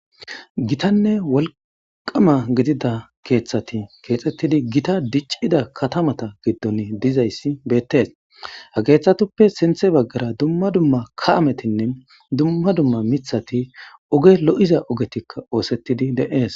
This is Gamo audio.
Gittanne wolqqamma gidida keeththati kexettidi giita dichchida katamata giidonne dizayssi betes. ha keththatuppe sintha bagara dumma dumma kaha mittati dumma dumma miiththati ogge lo'iza ogettika ossetidi de'es.